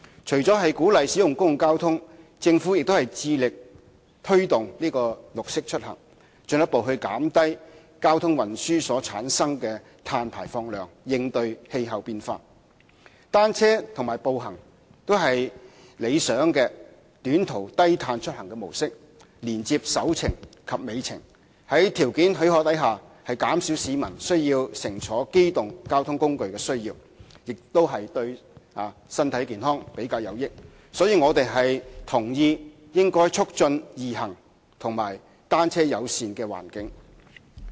除了鼓勵使用公共交通，政府致力推動"綠色出行"，進一步減低交通運輸所產生的碳排放量，應對氣候變化。單車和步行都是理想的短途低碳出行模式，連接"首程"及"尾程"，在條件許可的情況下，減少市民需要乘坐機動交通工具的需要，亦對身體健康比較有益。所以，我們同意應促進"易行"及單車友善的環境。